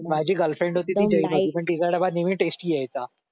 माझी गर्लफ्रेंड होती ती जैन होती पण तिचा डबा नेहमी टेस्टी यायचा